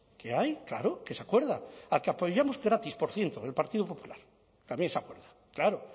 qué hay claro que se acuerda al que apoyamos gratis por cierto el partido popular también se acuerda claro